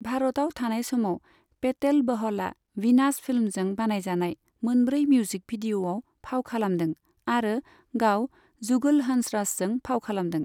भारतआव थानाय समाव, पेटेल बहलआ वीनास फिल्म्सजों बानायजानाय मोनब्रै मिउजिक भिडिअ'आव फाव खालामदों आरो गाव जुगल हंसराजजों फाव खालामदों।